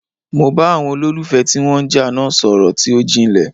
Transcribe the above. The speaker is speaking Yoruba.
Mo bá àwọn olólùfẹ́ ti wọ́n ń jà náà sọ̀rọl tí ó jinlè.